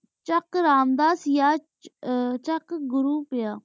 ਚਕ ਆਰਾਮ ਦਸ ਯਾ ਯਾ ਚਕ ਘੁਰੁ ਪੇਯ